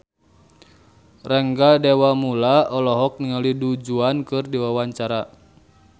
Rangga Dewamoela olohok ningali Du Juan keur diwawancara